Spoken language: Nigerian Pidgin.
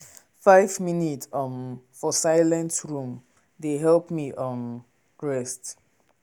five minute um for silent room dey help me um rest.